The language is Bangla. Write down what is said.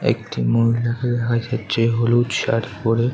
একটি মহিলা আইসেছে যে হলুদ শাড়ি পড়ে।